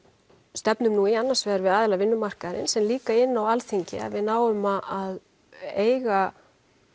stefnum nú í annars vegar við aðila vinnumarkaðarins en líka inni á Alþingi að við náum að eiga